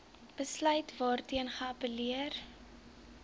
besluit waarteen geappelleer